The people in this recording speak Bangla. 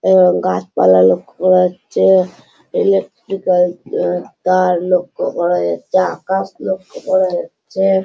এবং গাছপালা লক্ষ্য করা যাচ্ছে ইলেকট্রিক্যাল তার লক্ষ্য করা যাচ্ছে আকাশ লক্ষ্য করা যাচ্ছে।